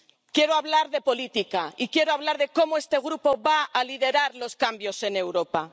Quiero hablar de política y quiero hablar de cómo este Grupo va a liderar los cambios en Europa.